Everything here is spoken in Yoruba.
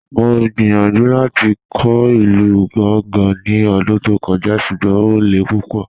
Mọ̀ gbíyànjú láti kọ̀ ilù Gàngá ní ọ̀dún tó kọ̀jà̀, ṣùgbọ́n o lẹ̀ púpọ̀.